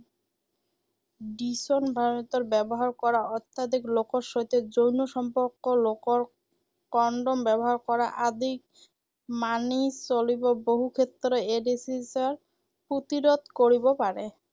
ব্যৱহাৰ কৰা, অত্যাধিক লোকৰ সৈতে যৌন সম্পৰ্ক লোকৰ কনডম ব্যৱহাৰ কৰা আদি মানি চলিব বহুক্ষেত্ৰত এইড্‌ছৰ প্ৰতিৰোধ কৰিব পাৰে।